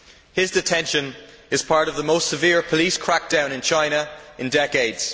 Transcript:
His detention is part of the most severe police crackdown in China in decades.